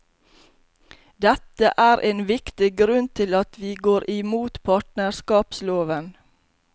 Dette er en viktig grunn til at vi går imot partnerskapsloven.